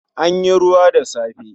An yi ruwa da safe